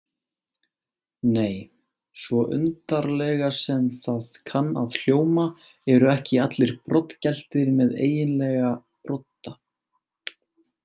Nei, svo undarlega sem það kann að hljóma eru ekki allir broddgeltir með eiginlega brodda.